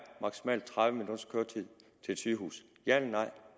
maksimalt tredive minutters køretid til et sygehus ja eller nej